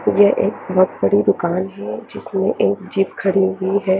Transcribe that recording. ये एक बहुत बड़ी दुकान हे जिसमे एक जिप खड़ी हुई हैं।